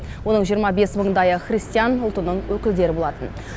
оның жиырма бес мыңдайы христиан ұлтының өкілдері болатын